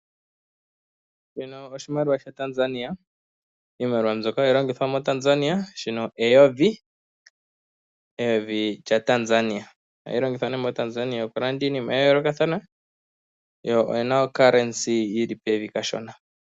Shino oshimaliwa shaTanzania, iimaliwa mbyoka hashi longithwa moTanzania. Ndika eyovi, eyovi lyaTanzania, ndyoka hali longithwa okulanda iinima ya yoolokathana, sho oshi na ongushu yi li pevi kashona.